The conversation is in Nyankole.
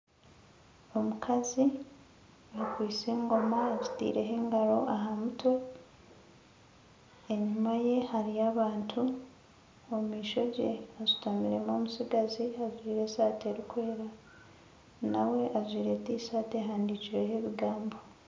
Omukazi akwaitse engoma agitaireho engaro aha mutwe enyuma ye hariyo abantu omu maisho ge hashutamiremu omutsigazi ajwaire esaati erikwera Kandi ajwaire Tishati ehaandikireho ebigambo